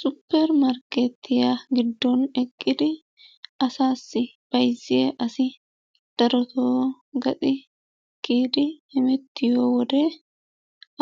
Supper markeettiyaa giddon eqqidi asaassi bayzziya asi darotoo gaxi kiyidi hemettiyo wode